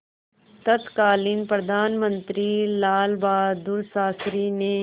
तत्कालीन प्रधानमंत्री लालबहादुर शास्त्री ने